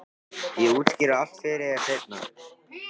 Ég útskýri allt fyrir þér seinna.